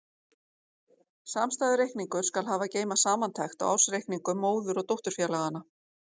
Samstæðureikningur skal hafa að geyma samantekt á ársreikningum móður- og dótturfélaganna.